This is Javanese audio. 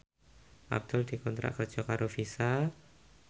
Abdul dikontrak kerja karo Visa